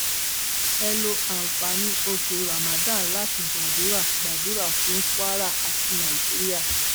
ẹ lo àǹfààní oṣù ramandan láti gbàdúrà gbàdúrà fún kwara àti nàìjíríà